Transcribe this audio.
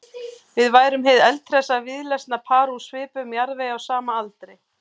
Við værum hið eldhressa víðlesna par úr svipuðum jarðvegi á sama aldri.